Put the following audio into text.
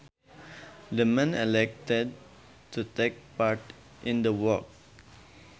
The man elected to take part in the work